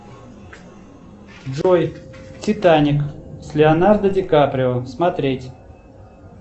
джой титаник с леонардо ди каприо смотреть